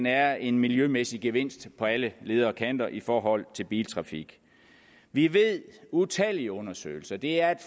er en miljømæssig gevinst på alle leder og kanter i forhold til biltrafik vi ved utallige undersøgelser det er et